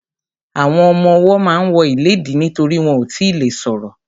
Àwọn ọmọwọ́ ma ń wọ ìléèdí nítorí wọn ò tíì le ṣọ̀rọ̀.